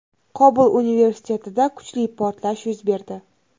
Qobul universitetida kuchli portlash yuz berdi.